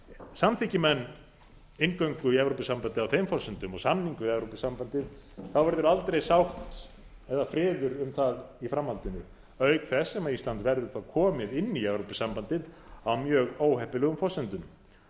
samþykki menn inngöngu í evrópusambandið á þeim forsendum og samning við evrópusambandið verður aldrei sátt eða friður um það í framhaldinu auk þess sem ísland verður þá komið inn í evrópusambandið á mjög óheppilegum forsendum